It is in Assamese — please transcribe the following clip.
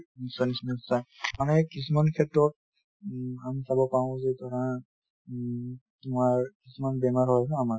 নিশ্চয় নিশ্চয় নিশ্চয়। মানে কিছুমান ক্ষেত্ৰত উম আমি ক'ব পাৰো যে ধৰা তোমাৰ উম তোমাৰ কিছুমান বেমাৰ হয় ন আমাৰ